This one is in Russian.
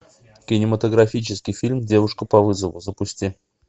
кинематографический фильм девушка по вызову запусти